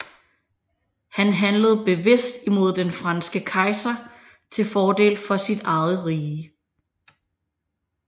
Han handlede bevidst imod den franske kejser til fordel for sit eget rige